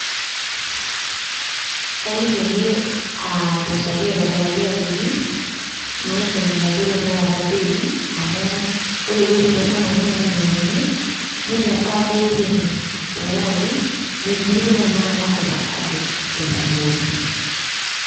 kaliki ake ,ainosaki aitobiraki ajoki maidim aitadou tenakata bei amu ore ewueji sii nanu nashomo ainyiang'unye neilepa bei penyo tenkaraki metumitoi tenakata ovacado tenkumoi.